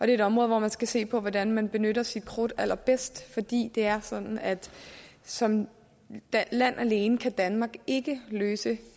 er et område hvor man skal se på hvordan man benytter sit krudt allerbedst fordi det er sådan at som land alene kan danmark ikke løse